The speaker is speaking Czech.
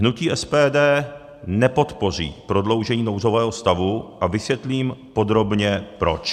Hnutí SPD nepodpoří prodloužení nouzového stavu a vysvětlím podrobně proč.